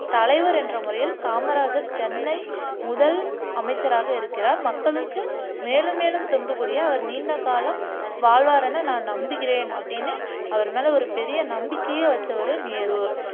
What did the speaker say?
தலைவர் என்ற முறையில் காமராஜர் சென்னை முதல் அமைச்சராக இருக்கிறார் மக்களுக்கு மேலும் மே லும் தொண்டு புரிய அவர் நீண்ட காலம் வாழ்வார் என நான் நம்புகிறேன் அப்படின்னு அவர் மேல ஒரு பெரிய நம்பிக்கையே வச்சவர் நேரு